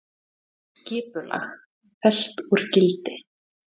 Skipulag fellt úr gildi